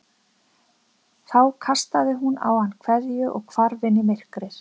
Þá kastaði hún á hann kveðju og hvarf inn í myrkrið.